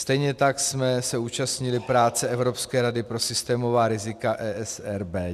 Stejně tak jsme se účastnili práce Evropské rady pro systémová rizika, ESRB.